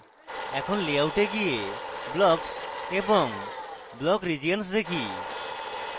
এখন layout a গিয়ে blocks এবং block regions দেখি